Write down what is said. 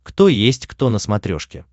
кто есть кто на смотрешке